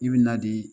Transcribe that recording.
I bɛ na di